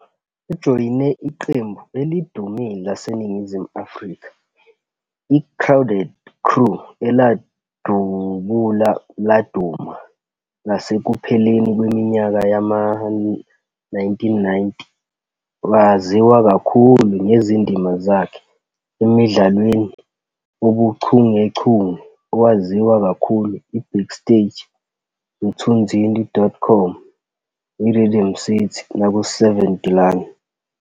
Ujoyine iqembu elidumile laseNingizimu Afrika, iCrowded Crew, eladubula laduma ngasekupheleni kweminyaka yama-1990. Waziwa kakhulu ngezindima zakhe emdlalweni "owuchungechunge" owaziwa kakhulu iBackstage, Mthunzini.com, "Rhythm City" naku- "7de Laan."